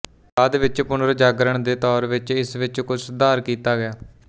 ਬਾਅਦ ਵਿੱਚ ਪੁਨਰਜਾਗਰਣ ਦੇ ਦੌਰ ਵਿੱਚ ਇਸ ਵਿੱਚ ਕੁਝ ਸੁਧਾਰ ਕੀਤਾ ਗਿਆ